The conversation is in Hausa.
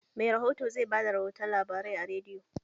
Mai rihoto zai bada rihotun labarai a rediyo